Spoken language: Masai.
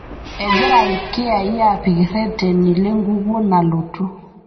Egira ilkiyai aapik irreteni lenkukuo nalotu